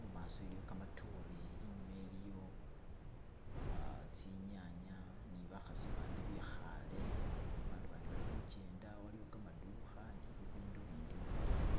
mumasi iliyo gamadore inyuma iliyo tsinyanya ni bakhasi bandi bikhale bandu bandi bali khugenda waliwo gamadukha ni bibindu bindi mukhatale.